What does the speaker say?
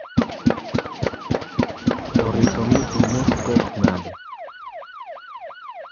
oripo ni imoso pope nade?